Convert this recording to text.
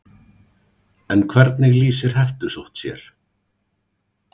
En hvernig lýsir hettusótt sér?